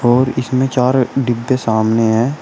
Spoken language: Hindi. और इसमें चार डिब्बे सामने हैं।